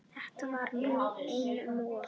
Þetta var nú einum of!